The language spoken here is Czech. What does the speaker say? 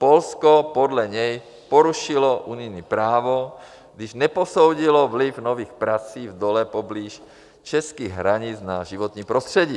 Polsko podle něj porušilo unijní právo, když neposoudilo vliv nových prací v dole poblíž českých hranic na životní prostředí.